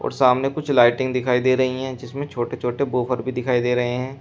सामने कुछ लाइटिंग दिखाई दे रही है जिसमें छोटे छोटे वूफर भी दिखाई दे रहे हैं।